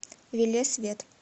велес вет